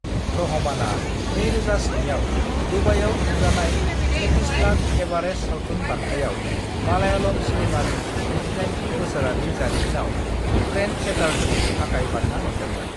रहमाना 2007 आव दुबाईआव खुंजानाय एतिसलात एवारेस्ट सावथुन बान्थायाव मालायालम सिनेमानि 78 थि बोसोरनि जारिमिनाव ट्रेन्डसेटारनि थाखाय बान्था मोनदोंमोन।